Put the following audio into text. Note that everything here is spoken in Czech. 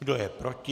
Kdo je proti?